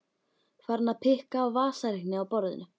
Farin að pikka á vasareikni á borðinu.